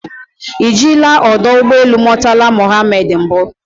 Ị jila ọdọ ụgbọ elu Murtala Mohammed mbụ?